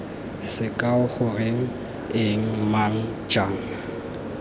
sekao goreng eng mang jang